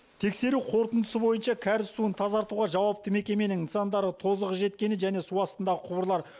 тексеру қорытындысы бойынша кәріз суын тазартуға жауапты мекеменің нысандары тозығы жеткені және су астындағы құбырлар